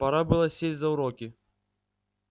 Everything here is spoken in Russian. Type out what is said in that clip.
пора было сесть за уроки